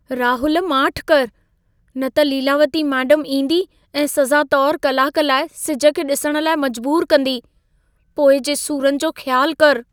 राहुल माठि करु, न त लीलावती मेडमु ईंदी ऐं सज़ा तौरु कलाक लाइ सिज खे ॾिसण लाइ मजबूरु कंदी। पोइ जे सुरनि जो ख़्यालु करु।